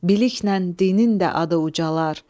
Biliklə dinin də adı ucalar.